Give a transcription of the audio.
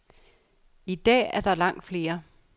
I dag er der langt flere.